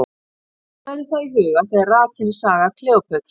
Hafa verður það í huga þegar rakin er saga Kleópötru.